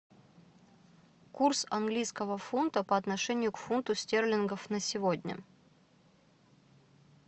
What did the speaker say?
курс английского фунта по отношению к фунту стерлингов на сегодня